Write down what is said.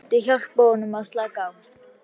Áfengið myndi hjálpa honum að slaka á.